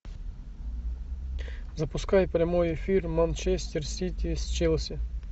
запускай прямой эфир манчестер сити с челси